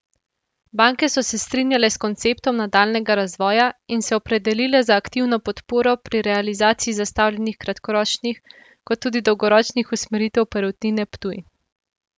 Banke so se strinjale s konceptom nadaljnjega razvoja in se opredelile za aktivno podporo pri realizaciji zastavljenih kratkoročnih kot tudi dolgoročnih usmeritev Perutnine Ptuj.